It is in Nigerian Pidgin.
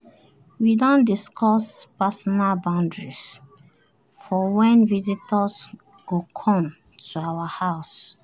we don discuss personal boundaries for when visitors go come to our house.